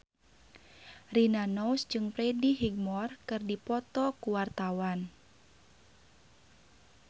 Rina Nose jeung Freddie Highmore keur dipoto ku wartawan